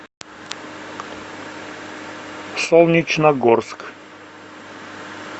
солнечногорск